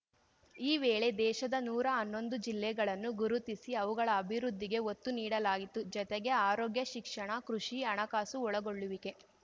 ಈ ವೇಳೆ ದೇಶದ ನೂರಾ ಹನ್ನೊಂದು ಜಿಲ್ಲೆಗಳನ್ನು ಗುರುತಿಸಿ ಅವುಗಳ ಅಭಿವೃದ್ಧಿಗೆ ಒತ್ತು ನೀಡಲಾಯಿತ್ತು ಜತೆಗೆ ಆರೋಗ್ಯ ಶಿಕ್ಷಣ ಕೃಷಿ ಹಣಕಾಸು ಒಳಗೊಳ್ಳುವಿಕೆ